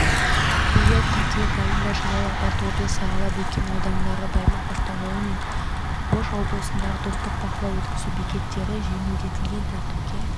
биыл қыркүйек айында жалал-абад облысы ала-бөкен ауданындағы баймак-автожолы мен ош облысындағы достық бақылау-өткізу бекеттері жеңілдетілген тәртіпке